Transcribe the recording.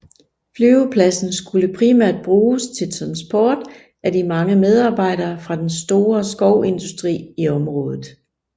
Flyvepladsen skulle primært bruges til transport af de mange medarbejdere fra den store skovindustri i området